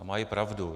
A mají pravdu.